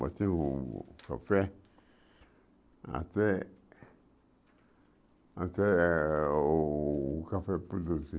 Batemos café até até o café produzir.